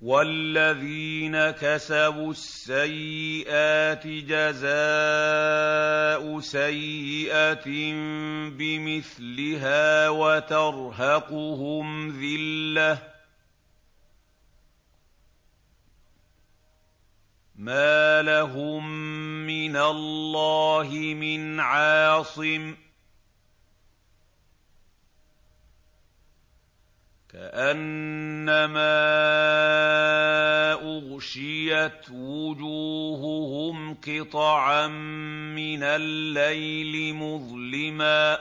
وَالَّذِينَ كَسَبُوا السَّيِّئَاتِ جَزَاءُ سَيِّئَةٍ بِمِثْلِهَا وَتَرْهَقُهُمْ ذِلَّةٌ ۖ مَّا لَهُم مِّنَ اللَّهِ مِنْ عَاصِمٍ ۖ كَأَنَّمَا أُغْشِيَتْ وُجُوهُهُمْ قِطَعًا مِّنَ اللَّيْلِ مُظْلِمًا ۚ